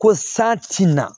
Ko sa tina